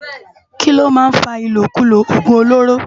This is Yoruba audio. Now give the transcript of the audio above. Kiló má n fá ilókúló ogún ólóró?